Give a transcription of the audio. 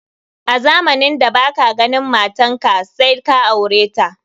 A Zamanin da baka ganin matanka said ka aureta.